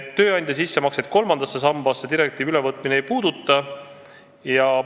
Tööandja sissemakseid kolmandasse sambasse direktiivi ülevõtmine ei puuduta.